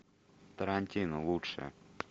тарантино лучшее